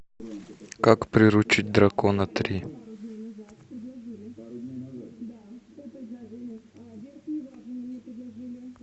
как приручить дракона три